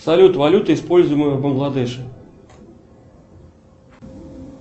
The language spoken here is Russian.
салют валюта используемая в бангладеш